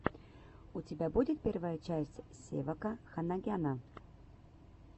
у тебя будет первая часть севака ханагяна